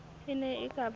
e ne e ka ba